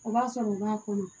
O b'a sɔrɔ u b'a kɔnɔ